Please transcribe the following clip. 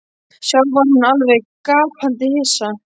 Sjálf var hún alveg gapandi hissa.